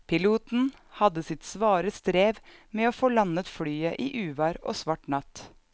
Piloten hadde sitt svare strev med å få landet flyet i uvær og svart natt.